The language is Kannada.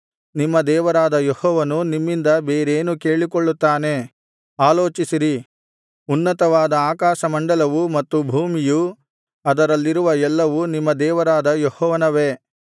ನಿಮ್ಮಿಂದ ಬೇರೇನೂ ಕೇಳಿಕೊಳ್ಳುತ್ತಾನೆ ಆಲೋಚಿಸಿರಿ ಉನ್ನತವಾದ ಆಕಾಶಮಂಡಲವೂ ಮತ್ತು ಭೂಮಿಯೂ ಅದರಲ್ಲಿರುವ ಎಲ್ಲವೂ ನಿಮ್ಮ ದೇವರಾದ ಯೆಹೋವನವೇ